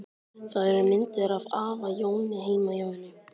Það eru myndir af afa Jóni heima hjá henni.